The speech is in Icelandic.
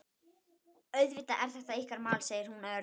Auðvitað er þetta ykkar mál, segir hún örg.